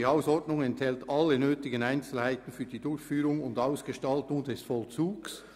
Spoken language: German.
«Die Hausordnung enthält alle nötigen Einzelheiten für die Durchführung und Ausgestaltung des Vollzugs».